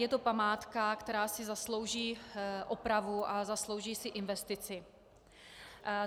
Je to památka, která si zaslouží opravu a zaslouží si investici.